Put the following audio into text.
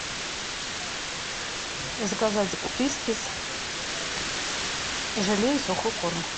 заказать фрискис желе и сухой корм